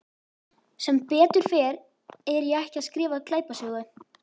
Sem betur fer er ég ekki að skrifa glæpasögu.